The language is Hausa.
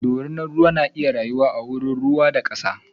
ɗorinan ruwa na iya rayuwa a wurin ruwa da kasa.